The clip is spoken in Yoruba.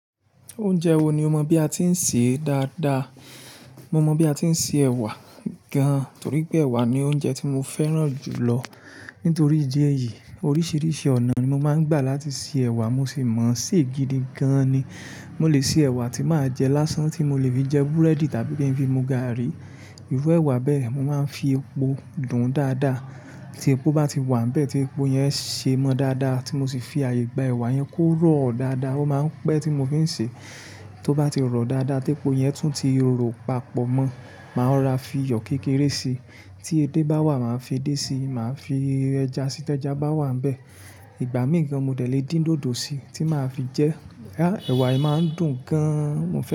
Oúnjẹ wo ni o mọ bí a ti ń sè é dáadáa? Mo mọ bí a ti ń se ẹ̀wà gan, torí pé ẹ̀wà ni oúnjẹ tí mo fẹ́ràn jù lọ. Nítorí ìdí èyí, oríṣiríṣi ọ̀nà ni mo máa ń gbà láti sè ẹ̀wà, mo sì mọ̀ sí i gidi gan ni. Mo lè se ẹ̀wà tí màá jẹ lásán, tí mo lè fi jẹ búrẹ́dì tàbí kí n fi mu gààrí. Irú ẹ̀wà bẹ́ẹ̀, mo máa ń fi epo dùn ún dáadáa. Tí epo bá ti wà níbẹ̀, tí epo yẹn ṣe ẹ mọ́ dáadáa, tí mo sì fi àyè gba ẹ̀wà yẹn kó rọ̀ dáadáa, ó máa ń pẹ́ tí mo fi ń sè é. Tó bá ti rọ̀ dáadáa tí epo yẹn tún ti rọ̀ papọ̀ mọ́, màá ra fi iyọ̀ kékeré si. Tí edé bá wà, màá fi edé sí i. Màá fi ẹja sí i tí ẹja bá wà níbẹ̀. Ìgbá mí kan mo lè dín dòdò sí i tí màá fi jẹ ẹ́. Jáà, ẹ̀wà yìí máa ń dùn gan. Mo fẹ́ràn.